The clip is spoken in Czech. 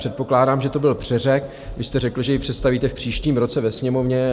Předpokládám, že to byl přeřek, vy jste řekl, že ji představíte v příštím roce ve Sněmovně.